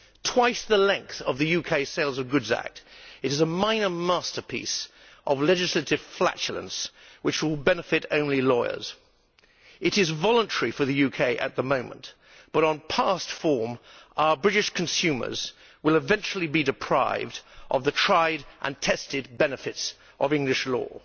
Twice the length of the UK Sale of Goods Act, it is a minor masterpiece of legislative flatulence which will benefit only lawyers. It is voluntary for the UK at the moment, but on past form our British consumers will eventually be deprived of the tried and tested benefits of English law